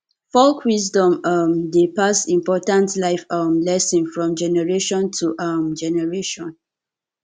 folk wisdom um dey pass important life um lessons from generation to um generation